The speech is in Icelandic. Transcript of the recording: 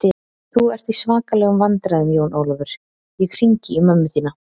Þú ert í svakalegum vandræðum Jón Ólafur, ég hringi í mömmu þína!